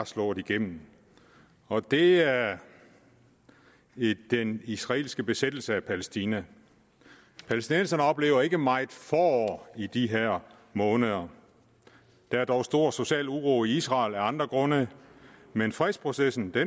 slået igennem og det er i den israelske besættelse af palæstina palæstinenserne oplever ikke meget forår i de her måneder der er dog stor social uro i israel af andre grunde men fredsprocessen